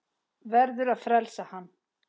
Verður að frelsa hann.